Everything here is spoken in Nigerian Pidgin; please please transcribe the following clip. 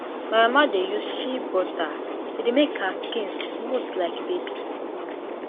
my mama dey use shea butter e dey make her skin smooth like baby